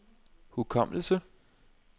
hukommelse